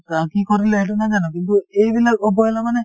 অ, কি কৰিলে সেইটো নাজানো কিন্তু এইবিলাক অৱহেলা মানে